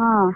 ହଁ।